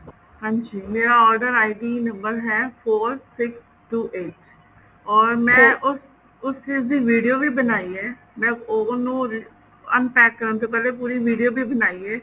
ਹਾਂਜੀ ਮੇਰਾ order ID number ਹੈ four six two eight or ਮੈਂ ਉਸ ਉਸ ਚੀਜ ਦੀ video ਵੀ ਬਣਾਈ ਏ ਮੈਂ oven ਨੂੰ unpack ਕਰਨ ਤੋਂ ਪਹਿਲੇ ਪੂਰੀ video ਵੀ ਬਣਾਈ ਏ